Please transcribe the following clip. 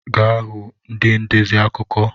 Ga hụ ndị ndezi akụkọ!